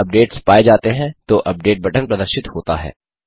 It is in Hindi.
अगर अपडेट्स पाए जाते हैं तो अपडेट बटन प्रदर्शित होता है